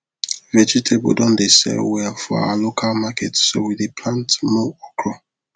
vegetable don dey sell well for our local market so we dey plant more okra